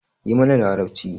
Yi mana larabci.